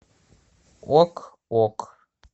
ок ок